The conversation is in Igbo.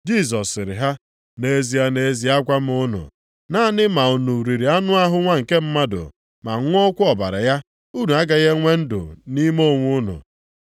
Jisọs sịrị ha, “Nʼezie, nʼezie agwa m unu, naanị ma unu riri anụ ahụ Nwa nke Mmadụ ma ṅụọkwa ọbara ya, unu agaghị enwe ndụ nʼime onwe unu.